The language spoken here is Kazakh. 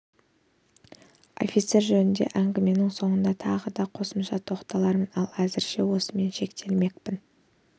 офицер жөнінде әңгіменің соңында тағы да қосымша тоқталармын ал әзірше осыменен шектелмекпін